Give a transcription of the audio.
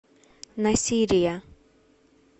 насирия